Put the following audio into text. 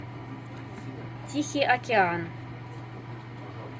тихий океан